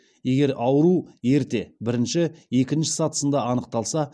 егер ауру ерте бірінші екінші сатысында анықталса